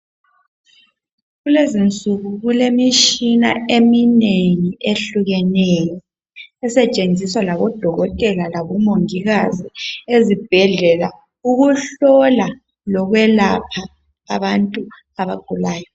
Kulezinsuku kulemitshina eminengi ehlukeneyo esetshenziswa ngodokotela labomongikazi ezibhedlela ukuhlola lokwelapha abantu abagulayo.